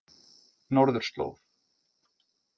Norðurslóð